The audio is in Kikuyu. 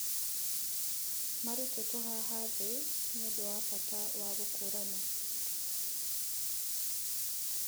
Marutĩtwo haha thĩ nĩũndũ wa bata wa gũkũũrana